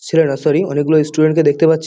ছেলেরা সরি অনেকগুলো ইস্টুডেন্ট -কে দেখতে পাচ্ছি।